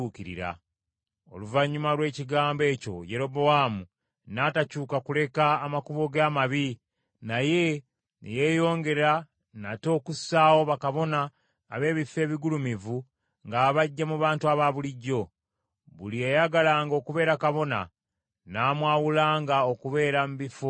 Oluvannyuma lw’ekigambo ekyo Yerobowaamu n’atakyuka kuleka amakubo ge amabi, naye ne yeeyongera nate okussaawo bakabona ab’ebifo ebigulumivu ng’abaggya mu bantu abaabulijjo. Buli eyayagalanga okubeera kabona, n’amwawulanga okubeera mu bifo ebigulumivu.